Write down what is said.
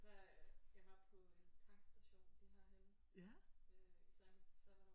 Da jeg var på en tankstation lige herhenne øh så i mit sabbatår